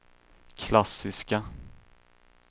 klassiska